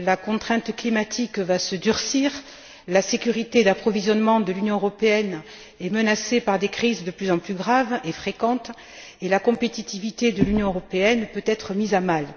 La contrainte climatique va se durcir, la sécurité d'approvisionnement de l'Union européenne est menacée par des crises de plus en plus graves et fréquentes et la compétitivité de l'Union européenne peut être mise à mal.